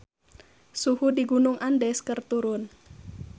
Suhu di Gunung Andes keur turun